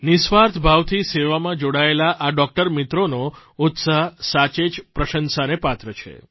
નિઃસ્વાર્થ ભાવથી સેવામાં જોડાયેલા આ ડોકટર મિત્રોનો ઉત્સાહ સાચે જ પ્રશંસાને પાત્ર છે